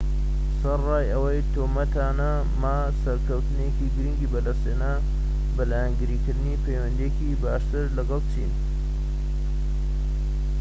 سەرەڕای ئەو تۆمەتانە، ما سەرکەوتنێکی گرنگی بەدەستهێنا بە لایەنگیری کردنی پەیوەندییەکی باشتر لەگەڵ چین